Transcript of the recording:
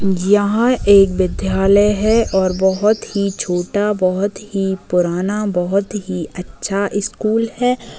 यहाँ एक विद्यालय है और बहुत ही छोटा बहुत ही पुराना बहुत ही अच्छा स्कूल है।